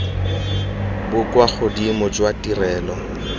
bo kwa godimo jwa ditirelo